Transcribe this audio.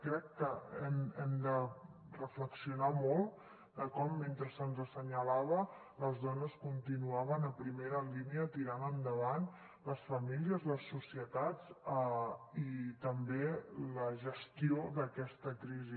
crec que hem de reflexionar molt de com mentre se’ns assenyalava les dones continuaven a primera línia tirant endavant les famílies les societats i també la gestió d’aquesta crisi